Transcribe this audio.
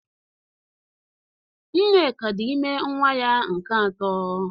Nneka dị ime nwa ya nke atọ